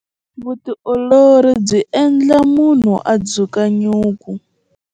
Vutiolori byi endla munhu a dzuka nyuku.